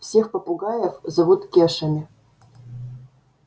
всех попугаев зовут кешами